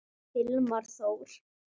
Hilmar Þór.